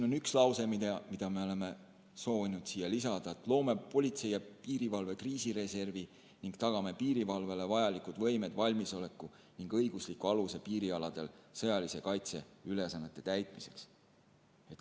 On üks lause, mida me oleme soovinud lisada: "Loome politsei ja piirivalve kriisireservi ning tagame piirivalvele vajalikud võimed, valmisoleku ning õigusliku aluse piirialadel sõjalise kaitse ülesannete täitmiseks.